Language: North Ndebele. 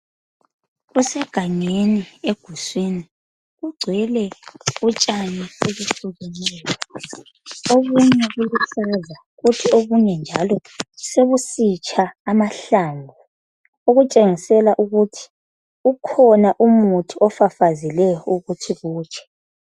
Kusegangeni, eguswini. Kugcwele utshani obuhlukeneyo. Obunye buluhlaza kuthi obunye njalo sebusitsha amahlamvu okutshengisela ukuthi ukhona umuthi ofafazileyo ukuthi butshe.